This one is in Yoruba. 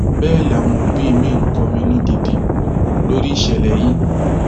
bẹẹ làwọn òbí miín kọminú gidi lórí ìṣẹlẹ yìí